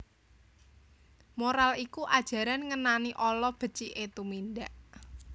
Moral iku ajaran ngenani ala beciké tumindak